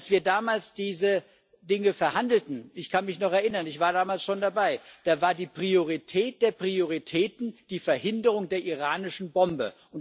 Als wir damals diese Dinge verhandelten ich kann mich noch erinnern, ich war damals schon dabei da war die Priorität der Prioritäten die Verhinderung der iranischen Bombe.